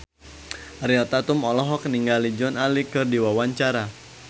Ariel Tatum olohok ningali Joan Allen keur diwawancara